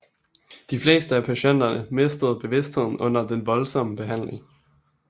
De fleste af patienterne mistede bevidstheden under den voldsomme behandling